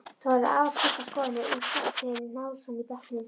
Það voru afar skiptar skoðanir um Skarphéðin Njálsson í bekknum.